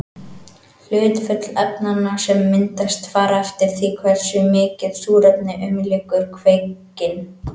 Hlutföll efnanna sem myndast fara eftir því hversu mikið súrefni umlykur kveikinn.